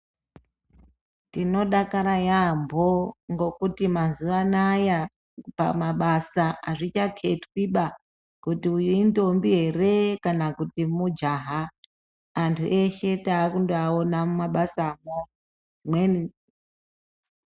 Tinodakara yaamho ngokuti mazuwa anaya azvichaketwiba kuti uyu intombi here kana kuti mujaya anhu eshe taakungovaona mumabasamo